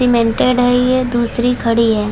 Cemented है ये दुशरी खड़ी है।